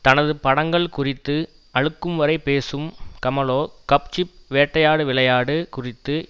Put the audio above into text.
தனது படங்கள் குறித்து அலுக்கும்வரை பேசும் கமலோ கப்சிப் வேட்டையாடு விளையாடு குறித்து